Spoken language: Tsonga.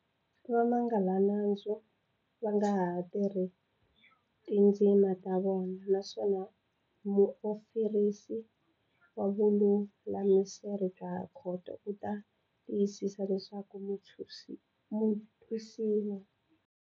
Vamangalanandzu va nga ha tirhisa tindzimi ta vona naswona muofirisi wa vululamiselo bya khoto u ta tiyisisa leswaku mutwisiwa.